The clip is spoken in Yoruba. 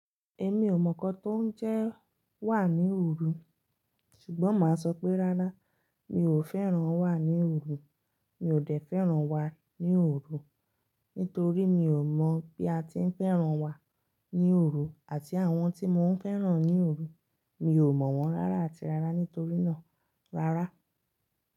Èmi ò mọ̀ nǹkan tó ń jẹ wà ní òru, ṣùgbọ́n màá sọ pé rárá mi ò fẹ́ràn wà ní òru. Mi ò dẹ̀ fẹ́ràn wà ní òru, nítorí mi ò mọ̀ bí a ti ń fẹ́ràn wà ní òru àti àwọn tí mò ń fẹ́ràn ní òru. Mi ò mọ̀ wọ́n rárá àti rárá nítorí náà rárá.